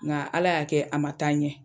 Nka ala y'a kɛ a ma taa ɲɛ.